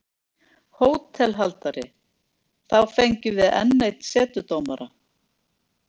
HÓTELHALDARI: Þá fengjum við enn einn setudómara.